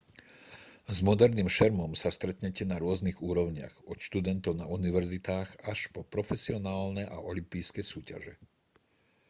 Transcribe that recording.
s moderným šermom sa stretnete na rôznych úrovniach od študentov na univerzitách až po profesionálne a olympijské súťaže